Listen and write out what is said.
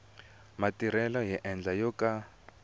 matirhelo hi ndlela yo ka